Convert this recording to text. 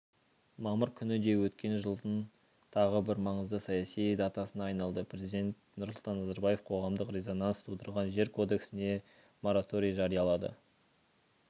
мамыр күні де өткен жылдың тағы бір маңызды саяси датасына айналды президент нұрсұлтан назарбаев қоғамдық резонанс тудырған жер кодексіне мораторий жариялады